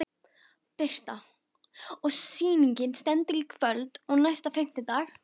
Birta: Og sýningin stendur í kvöld og næsta fimmtudag?